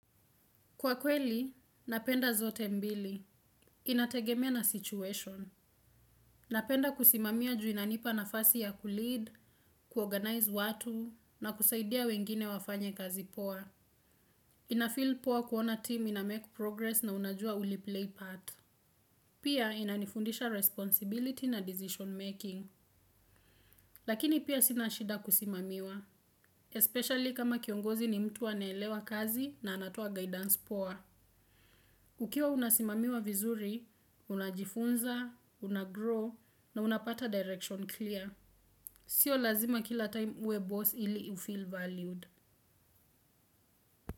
Kwa kweli, napenda zote mbili. Inategemea na situation. Napenda kusimamia ju inanipa nafasi ya kulead, kuorganize watu, na kusaidia wengine wafanye kazi poa. Inafeel poa kuona team inamake progress na unajua uli play path. Pia inanifundisha responsibility na decision making. Lakini pia sinashida kusimamiwa, especially kama kiongozi ni mtu anaelewa kazi na anatoa guidance poa. Ukiwa unasimamiwa vizuri, unajifunza, unagrow na unapata direction clear. Sio lazima kila time uwe boss ili ufeel valued.